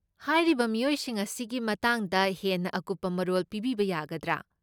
ꯍꯥꯏꯔꯤꯕ ꯃꯤꯑꯣꯏꯁꯤꯡ ꯑꯁꯤꯒꯤ ꯃꯇꯥꯡꯗ ꯍꯦꯟꯅ ꯑꯀꯨꯞꯄ ꯃꯔꯣꯜ ꯄꯤꯕꯤꯕ ꯌꯥꯒꯗ꯭ꯔꯥ?